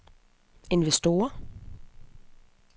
investorer